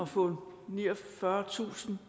få niogfyrretusind